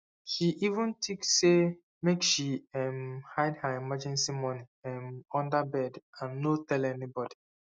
she even think say make she um hide her emergency money um under bed and no tell anybody